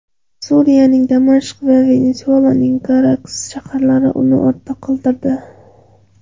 Suriyaning Damashq va Venesuelaning Karakas shaharlari uni ortda qoldirdi.